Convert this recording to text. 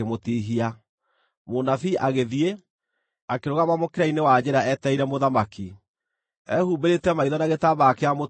Mũnabii agĩthiĩ, akĩrũgama mũkĩra-inĩ wa njĩra etereire mũthamaki. Ehumbĩrĩte maitho na gĩtambaya kĩa mũtwe nĩguo ndakamenyeke.